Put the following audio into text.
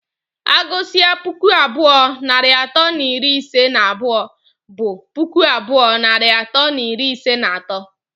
Agụsịa puku abụọ narị atọ na iri ise na abụọ, bụ puku abụọ narị atọ na iri ise na atọ.